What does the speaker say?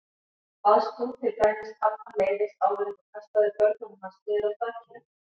Baðst þú til dæmis pabbann leyfis áður en þú kastaðir börnunum hans niður af þakinu?